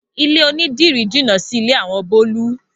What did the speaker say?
Ilé onídìrí jínà sílé àwọn Bólú.